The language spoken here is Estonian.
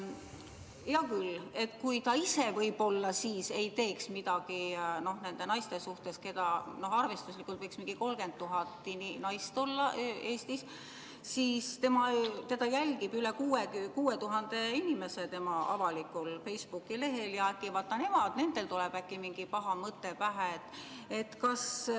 Hea küll, ta ise võib-olla ei teeks midagi nende naiste suhtes, keda arvestuslikult võib Eestis olla umbes 30 000, aga teda jälgib tema avalikul Facebooki lehel üle 6000 inimese ja äkki nendel tuleb mingi paha mõte pähe.